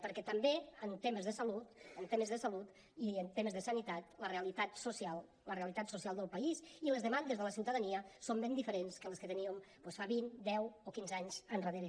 perquè també en temes de salut en temes de salut i en temes de sanitat la realitat social la realitat social del país i les demandes de la ciutadania són ben diferents que les que teníem doncs fa vint deu o quinze anys endarrere